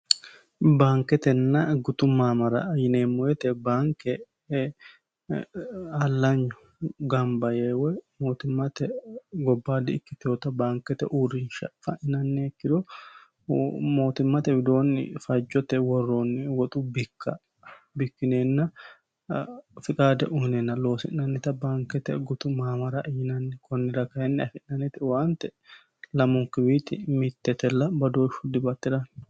baanketenna gutu maamara yineemmo woyete baanke allanyu gamba yee woyi mootimmate gobbaadi ikkitoota baankete uurrinsha fa'ininnanniha ikkiro mootimmate widoonni fajjote worroonni woxu bikka bikkineenna fiqaade uyineenna loosi'nannita baankete gutu maamara yinanni kunnira kainni afi'nanete waante lamunkiwiiti mittetella bodooshshu dibaattirano.